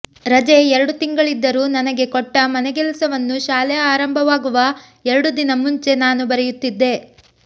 ರಜೆ ಎರಡು ತಿಂಗಳಿದ್ದರೂ ನನಗೆ ಕೊಟ್ಟ ಮನೆಗೆಲಸವನ್ನು ಶಾಲೆ ಆರಂಭವಾಗುವ ಎರಡು ದಿನ ಮುಂಚೆ ನಾನು ಬರೆಯುತ್ತಿದ್ದೆ